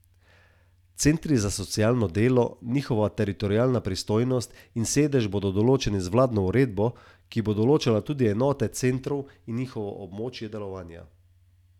Klub je namenjen podjetnikom, ki so kariero začeli s svojo idejo ali prevzeli družinsko podjetje, združuje pa praviloma lastnike podjetij.